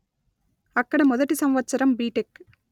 అక్కడ మొదటి సంవత్సరం బిటెక్